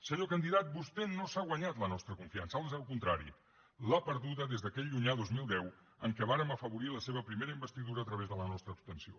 senyor candidat vostè no s’ha guanyat la nostra confiança ans al contrari l’ha perduda des d’aquell llunyà dos mil deu en què vàrem afavorir la seva primera investidura a través de la nostra abstenció